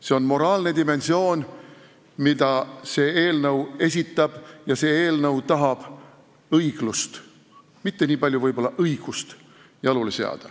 See on moraalne dimensioon, mida see eelnõu kannab: see eelnõu tahab õiglust, mitte niipalju võib-olla õigust jalule seada.